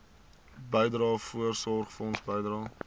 bydrae voorsorgfonds bydrae